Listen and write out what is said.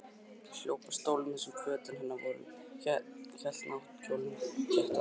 Hljóp að stólnum þar sem fötin hennar voru, hélt náttkjólnum þétt að sér.